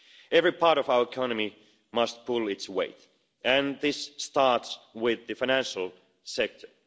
Every part of our economy must pull its weight, and this starts with the financial sector.